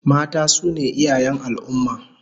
Mata su ne iyayen al'ummah